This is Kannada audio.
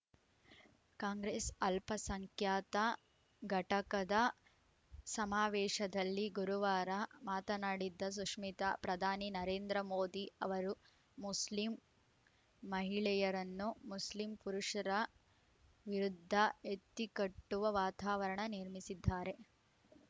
ಕಾಂಗ್ರೆಸ್‌ ಅಲ್ಪಸಂಖ್ಯಾತ ಘಟಕದ ಸಮಾವೇಶದಲ್ಲಿ ಗುರುವಾರ ಮಾತನಾಡಿದ ಸುಷ್ಮಿತಾ ಪ್ರಧಾನಿ ನರೇಂದ್ರ ಮೋದಿ ಅವರು ಮುಸ್ಲಿಂ ಮಹಿಳೆಯರನ್ನು ಮುಸ್ಲಿಂ ಪುರುಷರ ವಿರುದ್ಧ ಎತ್ತಿಕಟ್ಟುವ ವಾತಾವರಣ ನಿರ್ಮಿಸಿದ್ದಾರೆ